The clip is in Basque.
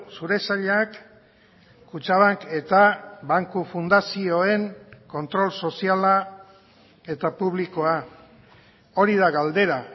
zure sailak kutxabank eta banku fundazioen kontrol soziala eta publikoa hori da galdera